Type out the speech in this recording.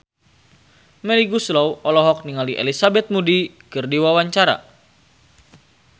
Melly Goeslaw olohok ningali Elizabeth Moody keur diwawancara